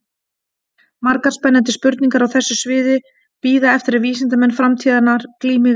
Margar spennandi spurningar á þessu sviði bíða eftir að vísindamenn framtíðarinnar glími við þær.